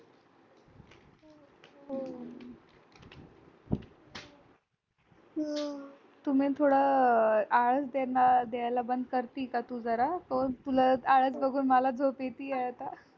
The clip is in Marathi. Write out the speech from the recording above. तुम्ही थोडं आळस देणार द्यायला बंद करती का तू जरा तुला आळस बघून मला झोप येतीये